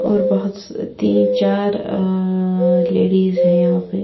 और बहोत्स तीन चार अ लेडीज है यहा पे--